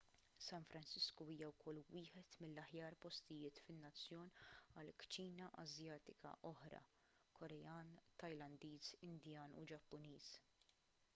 san francisco hija wkoll wieħed mill-aħjar postijiet fin-nazzjon għal kċina asjatika oħra korean tajlandiż indjan u ġappuniż